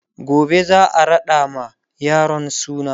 gobe zaa raɗa ma yaron suna